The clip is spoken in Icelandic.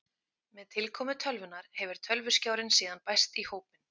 Með tilkomu tölvunnar hefur tölvuskjárinn síðan bæst í hópinn.